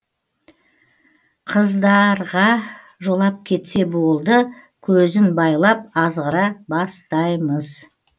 қыздарға жолап кетсе болды көзін байлап азғыра бастай мыз